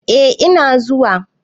eh Ina zuwa